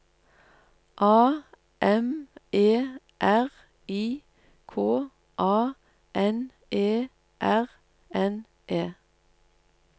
A M E R I K A N E R N E